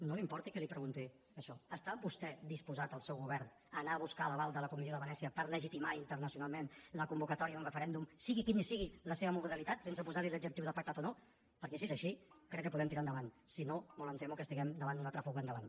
no li importi que li pregunti això està vostè disposat el seu govern a anar a buscar l’aval de la comissió de venècia per legitimar internacionalment la convocatòria d’un referèndum sigui quina sigui la seva modalitat sense posar hi l’adjectiu pactat o no perquè si és així crec que podem tirar endavant si no molt em temo que estarem davant d’una altra fuga endavant